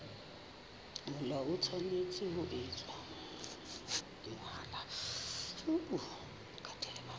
mahola e tshwanetse ho etswa